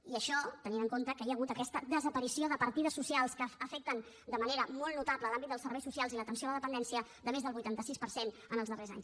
i això tenint en compte que hi ha hagut aquesta desaparició de partides socials que afecten de manera molt notable l’àmbit dels serveis socials i l’atenció a la dependència de més del vuitanta sis per cent en els darrers anys